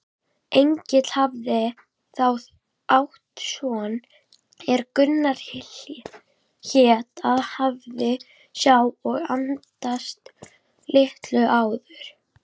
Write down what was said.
Egill hafði þá átt son er Gunnar hét og hafði sá og andast litlu áður.